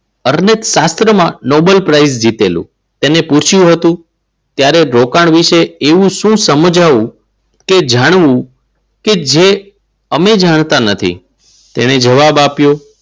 શાસ્ત્રમાં Nobel prize જીતેલું તેણે પૂછ્યું હતું. ક્યારેક રોકાણ વિશે એવું શું સમજાવું કે જાણવું કે જે અમે જાણતા નથી તેને જવાબ આપ્યો.